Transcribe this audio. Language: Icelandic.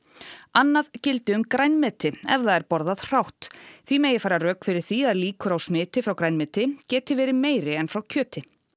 annað gildi um grænmeti ef það er borðað hrátt því megi færa rök fyrir því að líkur á smiti frá grænmeti geti verið meiri en frá kjöti